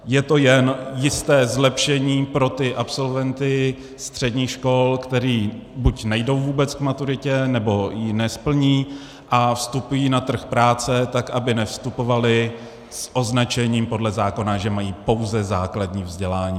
Je to jen jisté zlepšení pro ty absolventy středních škol, kteří buď nejdou vůbec k maturitě, nebo ji nesplní a vstupují na trh práce, tak aby nevstupovali s označením podle zákona, že mají pouze základní vzdělání.